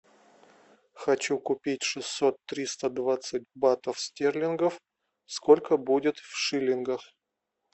хочу купить шестьсот триста двадцать батов стерлингов сколько будет в шиллингах